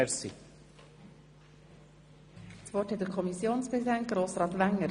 Das Wort hat der Kommissionspräsident Grossrat Wenger.